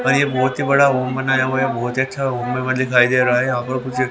और ये बहुत ही बड़ा ओम बनाया हुआ है बहुत ही अच्छा ओम हमें दिखाई दे रहा है यहां पर कुछ--